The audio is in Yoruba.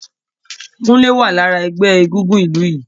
Kunle wá lára ẹgbẹ́ egúngún ìlú yìí